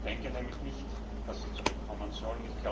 Ich denke nämlich nicht, dass sie zurückkommen soll.